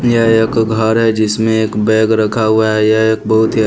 यह एक घर है जिसमें एक बैग रखा हुआ है यह एक बहुत ही --